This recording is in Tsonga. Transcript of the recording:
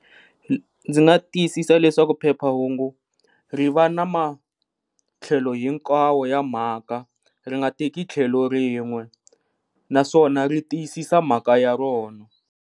Ndzi nga tiyisisa leswaku phephahungu ri va na matlhelo hinkwawo ya mhaka ri nga teki tlhelo rin'we naswona ri tiyisisa mhaka ya rona.